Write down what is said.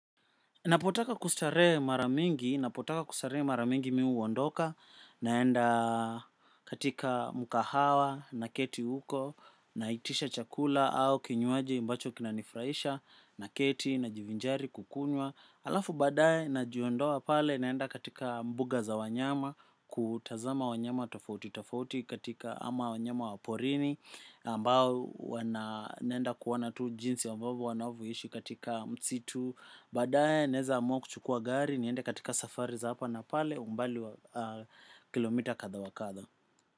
Napotaka kustarehe mara mingi, napotaka kustarehe mara mingi mi huwondoka naenda katika mukahawa naketi huko na itisha chakula au kinywaji ambacho kinanifurahisha na keti na jivinjari kukunywa. Alafu badaye na jiondoa pale naenda katika mbuga za wanyama kutazama wanyama tafauti tafauti katika ama wanyama wa porini ambao huwa na nenda kuona tu jinsi ambavo wanavoishi katika msitu badaye naeza amuwa chukuwa gari nienda katika safari za hapa na pale umbali wa kilomita kadha wakadha.